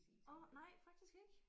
Åh nej faktisk ikke